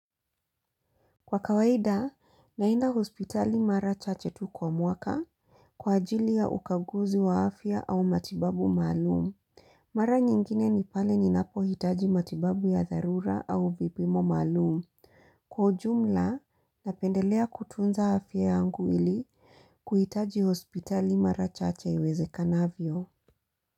Kwa kawaida, naenda hospitali mara chache tu kwa mwaka kwa ajili ya ukaguzi wa afya au matibabu maalum. Mara nyingine ni pale ninapohitaji matibabu ya dharura au vipimo maalum. Kwa jumla, napendelea kutunza afya yangu ili kuhitaji hospitali mara chache yuweze kanavyo.